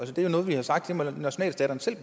det er noget vi har sagt nationalstaterne selv